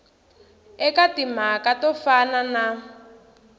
eka timhaka to fana na